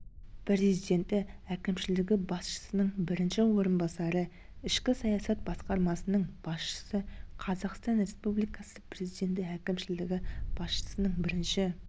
президенті әкімшілігі басшысының бірінші орынбасары ішкі саясат басқармасының басшысы қазақстан республикасы президенті әкімшілігі басшысының бірінші